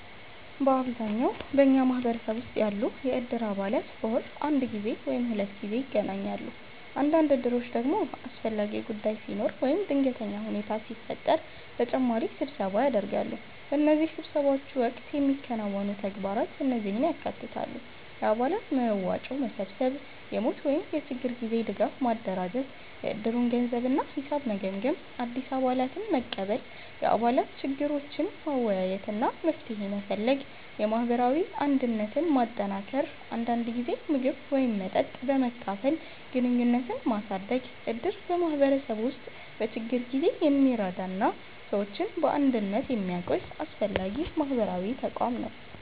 በአብዛኛው በኛ ማህበረሰብ ውስጥ ያሉ የእድር አባላት በወር አንድ ጊዜ ወይም ሁለት ጊዜ ይገናኛሉ። አንዳንድ እድሮች ደግሞ አስፈላጊ ጉዳይ ሲኖር ወይም ድንገተኛ ሁኔታ ሲፈጠር ተጨማሪ ስብሰባ ያደርጋሉ። በእነዚህ ስብሰባዎች ወቅት የሚከናወኑ ተግባራት እነዚህን ያካትታሉ፦ የአባላት መዋጮ መሰብሰብ የሞት ወይም የችግር ጊዜ ድጋፍ ማደራጀት የእድሩን ገንዘብ እና ሂሳብ መገምገም አዲስ አባላትን መቀበል የአባላት ችግሮችን መወያየት እና መፍትሄ መፈለግ የማህበራዊ አንድነትን ማጠናከር አንዳንድ ጊዜ ምግብ ወይም መጠጥ በመካፈል ግንኙነትን ማሳደግ እድር በማህበረሰቡ ውስጥ በችግር ጊዜ የሚረዳ እና ሰዎችን በአንድነት የሚያቆይ አስፈላጊ ማህበራዊ ተቋም ነው።